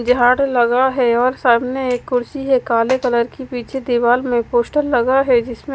झाड़ू लगा है और सामने एक कुर्सी है काले कलर की पीछे दीवार में एक पोस्टर लगा है जिस में--